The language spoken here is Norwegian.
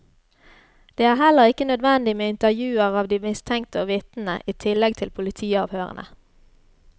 Det er heller ikke nødvendig med intervjuer av de mistenkte og vitnene i tillegg til politiavhørene.